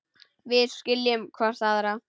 Við skiljum hvor aðra.